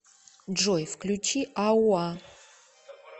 джой включи ауа